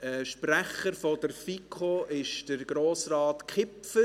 Sprecher der FiKo ist Grossrat Kipfer.